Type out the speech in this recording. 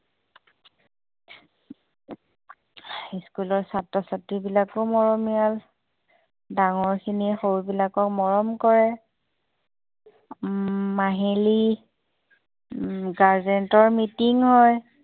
school ছাত্ৰ-ছাত্ৰী বিলাকো মৰমীয়াল ডাঙৰ খিনিয়ে সৰুবিলাকক মৰম কৰে মাহিলী guardian meeting হয়